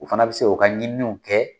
U fana bɛ se k'u ka ɲininiw kɛ